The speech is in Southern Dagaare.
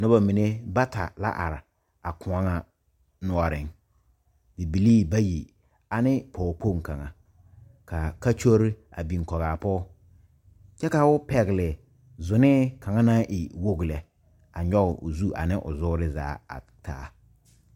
Noba mine bata la a are a kõɔ kaŋa noɔre bibilee bayi ane pɔge kpoŋ kaŋa kaa kɔkyure a biŋ kɔge a pɔge kyɛ ka o pegle zɔne kaŋa e wogi lɛ a nyoŋ o zu ane o zuure zaa a taa.